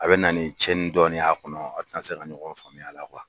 A bɛ na ni cɛnni dɔɔni y'a kɔnɔ a tɛ na se ka ɲɔgɔn faamuy'a la